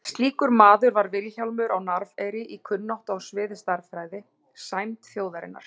Slíkur maður var Vilhjálmur á Narfeyri í kunnáttu á sviði stærðfræði, sæmd þjóðarinnar.